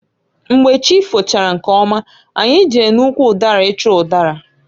Mgbe chi fochara nkeọma anyị jere n'ụkwụ ụdara ịchọ ụdara.